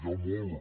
hi ha molt